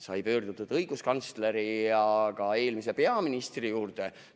Sai pöördutud õiguskantsleri ja ka eelmise peaministri poole.